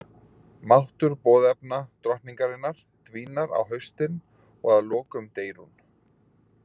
Máttur boðefna drottningarinnar dvínar á haustin og að lokum deyr hún.